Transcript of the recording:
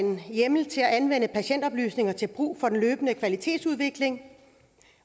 hjemmel til at anvende patientoplysninger til brug for den løbende kvalitetsudvikling